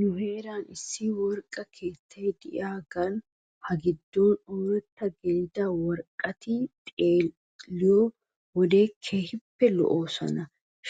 Nu heeran issi worqqa keettay de'iyaagan ha giddon ooratta gelida worqqati xeelliyoo wode keehippe lo'oosona